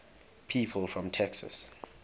people from texas